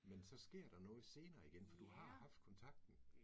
Men så sker der noget senere igen, for du har haft kontakten